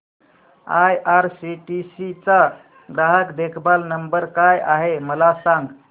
IRCTC चा ग्राहक देखभाल नंबर काय आहे मला सांग